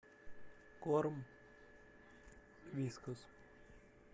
корм вискас